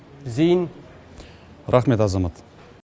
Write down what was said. зейін рахмет азамат